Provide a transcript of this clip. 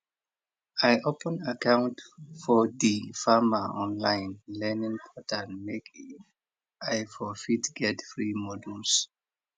i open account for di farmer online learning portal make i for fit get free modules